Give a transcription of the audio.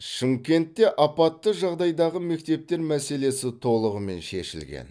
шымкентте апатты жағдайдағы мектептер мәселесі толығымен шешілген